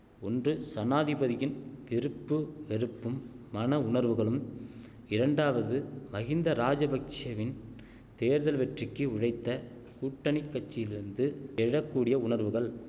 ஒன்று சனாதிபதியின் விருப்பு வெறுப்பும் மன உணர்வுகளும் இரண்டாவது மகிந்த ராஜபக்ஷெவின் தேர்தல் வெற்றிக்கு உழைத்த கூட்டணி கட்சியிலிருந்து எழ கூடிய உணர்வுகள்